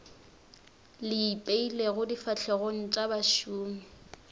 le ipeilego difahlegong tša bašomi